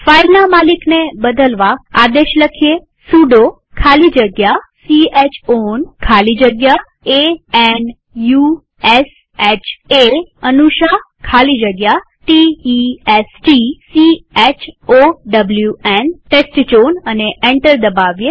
ફાઈલના માલિકને બદલવા આદેશ લખીએ સુડો ખાલી જગ્યા c હ ઓન ખાલી જગ્યા a n u s h એ ખાલી જગ્યા t e s t c h o w ન અને એન્ટર દબાવીએ